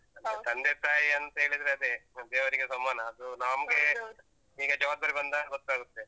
ತಂದೆ ತಾಯಿ. ಅಂತೇಳಿದ್ರೆ ಅದೇ, ದೇವರಿಗೆ ಸಮಾನ. ಅದು ನಮ್ಗೆ ಈಗ ಜವಾಬ್ದಾರಿ ಬಂದಾಗ್ ಗೊತ್ತಾಗುತ್ತೆ.